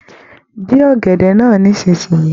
Dín ọ̀gẹ̀dẹ̀ náà nísìnyí.